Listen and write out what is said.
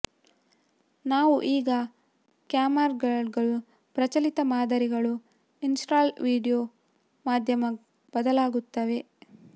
ನಾವು ಈಗ ಕ್ಯಾಮ್ಕಾರ್ಡರ್ಗಳು ಪ್ರಚಲಿತ ಮಾದರಿಗಳು ಇನ್ಸ್ಟಾಲ್ ವೀಡಿಯೊ ಮಾಧ್ಯಮ ಬದಲಾಗುತ್ತವೆ